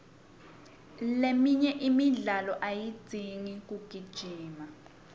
leminye imidlalo ayidzingi kugijima